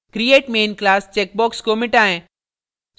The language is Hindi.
create main class चेकबॉक्स को मिटाएँ